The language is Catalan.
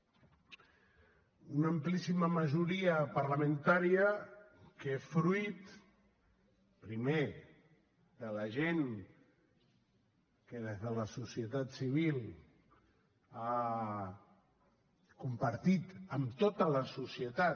una amplíssima majoria parlamentària que fruit primer de la gent que des de la societat civil ha compartit amb tota la societat